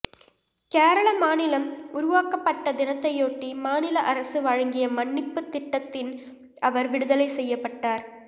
கேரள மாநிலம் உருவாக்கப்பட்ட தினத்தையொட்டி மாநில அரசு வழங்கிய மன்னிப்பு திட்டத்தின் அவர் விடுதலை செய்யப்பட்டார்